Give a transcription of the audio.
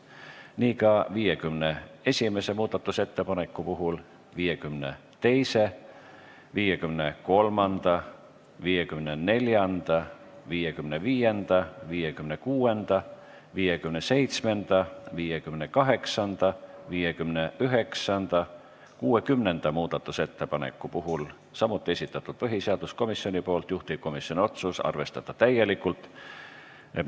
Nii on ka 51., 52., 53., 54., 55., 56., 57., 58., 59. ja 60. muudatusettepaneku puhul, mille samuti on esitanud põhiseaduskomisjon ja juhtivkomisjoni otsus on arvestada täielikult.